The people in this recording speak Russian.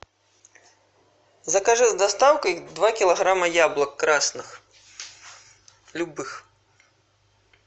закажи с доставкой два килограмма яблок красных любых